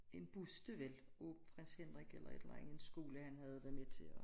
En buste vel af Prins Henrik eller et eller anden skole han havde været med til at